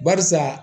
Barisa